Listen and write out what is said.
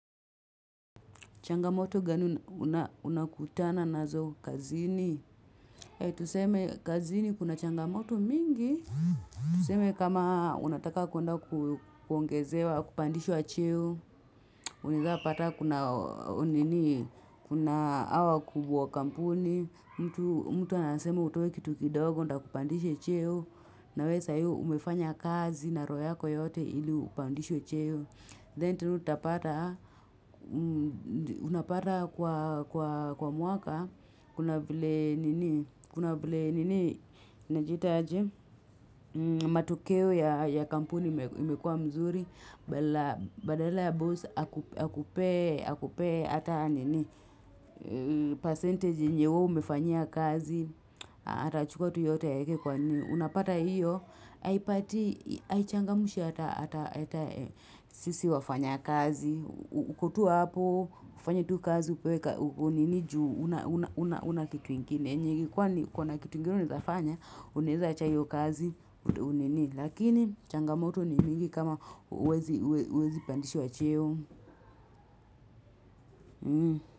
Changamoto gani unakutana nazo kazini? Ehh, tuseme kazini kuna changamoto mingi. Tuseme kama unataka kwenda kuongezewa, kupandishwa cheo. Unaweza pata kuna hawa wakubuwa wa kampuni. Mtu anasema utoe kitu kidogo, ndo akupandishe cheo. Nawee saa hii umefanya kazi na roho yako yote ili upandishwe cheo. Then tena utapata, unapata kwa mwaka, kuna vile nini, kuna vile nini, najiita aje matokeo ya kampuni imekuwa mzuri, badala ya boss, akupee, akupee, ata nini, percentage yenye wewe umefanyia kazi, atachukua yote aeke kwa nini. Unapata hiyo, haipatii, haichangamshi hata sisi wafanya kazi. Uko tu hapo, ufanye tu kazi, upewe ka, unini juu, huna kitu ingine. Ninge kuwa na kitu ingine unawezafanya, uaeza acha hiyo kazi, ndo unini. Lakini, changamoto ni mingi kama huwezi pandishwa cheo.